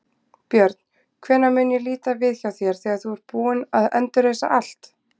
Björn: Hvenær mun ég líta við hjá þér þegar þú ert búinn að endurreisa allt?